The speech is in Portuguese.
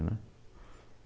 né.